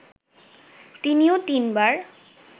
তিনিও তিনবার